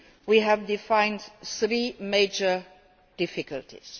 We have defined three major difficulties.